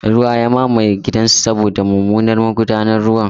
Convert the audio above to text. Ruwa ya mamaye gidansa saboda mummunan magudanar ruwa.